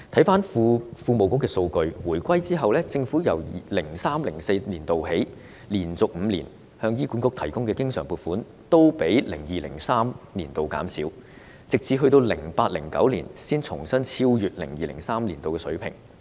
根據庫務署提供的數據，政府在回歸後自 2003-2004 年度起，連續5年向醫管局提供的經常撥款都較 2002-2003 年度減少，直至 2008-2009 年度才重新超越 2002-2003 年度的水平。